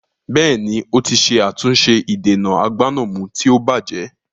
Bẹ́ẹ̀ni, ó ti ṣe àtúnṣe ìdènà agbánàmú tí ó bajẹ́